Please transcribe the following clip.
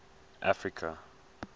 africa